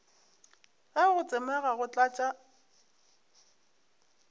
ge go tsomega go tlatša